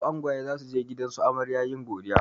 Yau angwaye zasuje gidansu amarya yin godiya